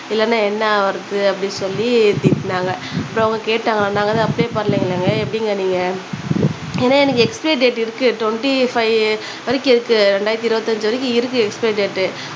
இல்லனா என்ன ஆவுறது அப்பிடினு சொல்லி திட்டுனாங்க அப்புறம் அவங்க கேட்டாங்க நாங்க எதுவும் அப்ளை பண்ணலங்குளேங்க எப்பிடிங்க நீங்க ஏனா எனக்கு எக்ஸ்பைரி டேட்டு இருக்கு ட்வென்ட்டி ஃபைவ் வரைக்கும் இருக்கு ரெண்டாயிரத்து இருவத்தஞ்சு வரைக்கும் இருக்கு எக்ஸ்பைரி டேட்டு